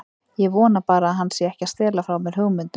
Ég vona bara að hann sé ekki að stela frá mér hugmyndum.